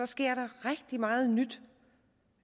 sker rigtig meget nyt